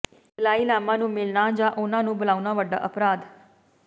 ਦਲਾਈ ਲਾਮਾ ਨੂੰ ਮਿਲਣਾ ਜਾਂ ਉਨ੍ਹਾਂ ਨੂੰ ਬੁਲਾਉਣਾ ਵੱਡਾ ਅਪਰਾਧ